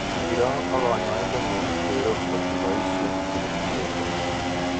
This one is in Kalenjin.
iroo ak kanyaindet nguuk kero ngotipaishe chegenishet komiei